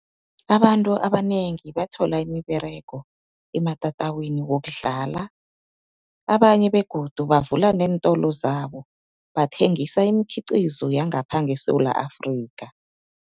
Abantu abanengi bathola imiberego ematatawini wokudlala, abanye begodu bavula nentolo zabo bathengisa imikhiqizo yangapha ngeSewula Afrika.